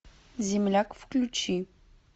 земляк включи